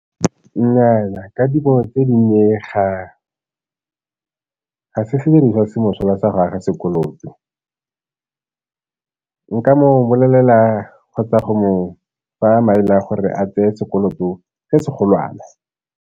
Nnyaa tse dinnye ga se se se mosola sa gagwe sekoloto. Nka mo bolelela kgotsa go mo fa maele a gore a tseye sekoloto se segolwane.